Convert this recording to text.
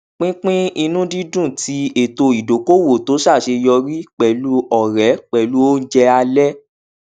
pínpín ìnùdídùn ti ètò ìdokoowo tó ṣàṣeyọrí pẹlú ọrẹ pẹlú ounjẹ alẹ